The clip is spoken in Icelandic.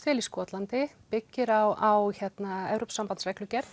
vel í Skotlandi byggir á